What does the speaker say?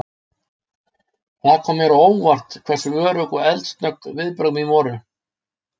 Það kom mér á óvart hversu örugg og eldsnögg viðbrögð mín voru.